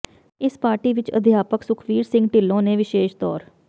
ਇਸ ਪਾਰਟੀ ਵਿਚ ਅਧਿਆਪਕ ਸੁਖਵੀਰ ਸਿੰਘ ਿਢੱਲੋਂ ਨੇ ਵਿਸ਼ੇਸ਼ ਤੌਰ